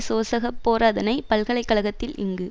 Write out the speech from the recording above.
சோசக பேராதனை பல்கலை கழகத்தில் இங்கு